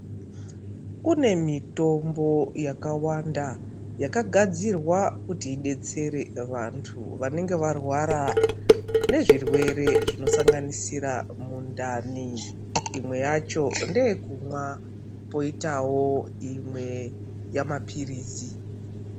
Kunemitombo yakawanda yakagadzirwa kuti idetsere vantu vanenge varwara nezvirwere zvino sanganisire mundani imwe yacho ngeyekunwa poitawo imwe yemapirisi.